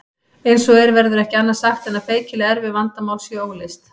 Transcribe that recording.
Eins og er verður ekki annað sagt en að feikilega erfið vandamál séu óleyst.